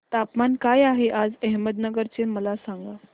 तापमान काय आहे आज अहमदनगर चे मला सांगा